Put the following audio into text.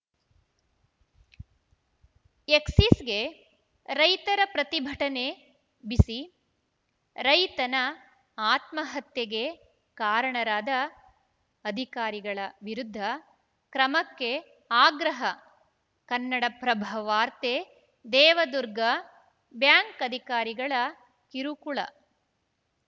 ಎಕ್ಸಿಸ್‌ಗೆ ರೈತರ ಪ್ರತಿಭಟನೆ ಬಿಸಿ ರೈತನ ಆತ್ಮಹತ್ಯೆಗೆ ಕಾರಣರಾದ ಅಧಿಕಾರಿಗಳ ವಿರುದ್ಧ ಕ್ರಮಕ್ಕೆ ಆಗ್ರಹ ಕನ್ನಡಪ್ರಭ ವಾರ್ತೆ ದೇವದುರ್ಗ ಬ್ಯಾಂಕ್‌ ಅಧಿಕಾರಿಗಳ ಕಿರುಕುಳ